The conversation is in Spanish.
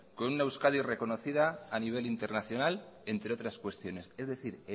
con una euskadi reconocida a nivel internacional entre otras cuestiones es decir